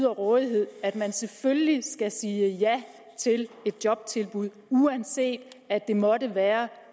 rådighed at man selvfølgelig skal sige ja til et jobtilbud uanset at det måtte være